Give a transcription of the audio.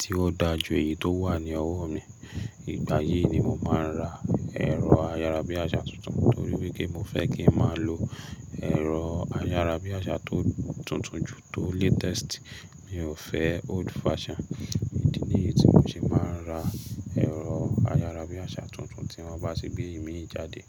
tí ó da jù èyí tó wà ní ọwọ́ mi, ìgbà yìí ni mo máa ra ẹ̀rọ ayárabíàjà tuntun. Nítorí wípé mo fẹ́ kí n má lo ẹ̀rọ ayárabíàjà tó tuntun jù tó latest. Mi ò fẹ́ old fashion. Idi ni èyí tí mo se máa ń ra ẹ̀rọ ayárabíàjà tuntun tí wọ́n bá ti gbé ìmì jáde.